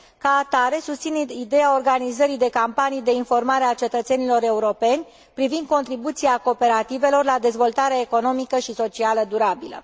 Ca atare, susțin ideea organizării de campanii de informare a cetățenilor europeni privind contribuția cooperativelor la dezvoltarea economică și socială durabilă.